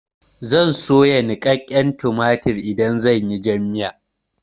Zan soya niƙaƙƙen tumatur idan zan yi jan miya.